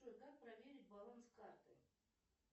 джой как проверить баланс карты